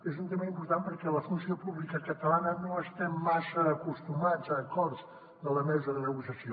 és un tema important perquè la funció pública catalana no estem massa acostumats a acords de la mesa de negociació